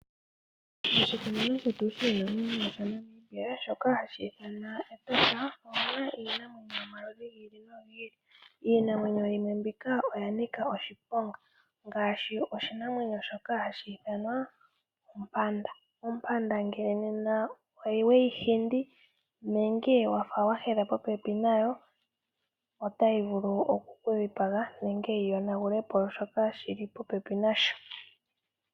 Moshikunino shetu shiinanwenyo sha Namibia Shoka hashi ithanwa Etosha omuna iinamwenyo yomaludhi gi ili nogi ili, iinamwenyo yimwe mbika oyanika oshiponga ngaashi oshinamwenyo shoka hashi ithanwa ompanda. Ompanda ngele oweyi hindi nenge wafa wa hedha popepi nayo otayi vulu oku kukudhipaga nenge yi yonagulepo shok shili popepi nayo.